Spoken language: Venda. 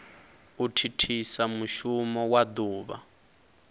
u thithisa mushumo wa duvha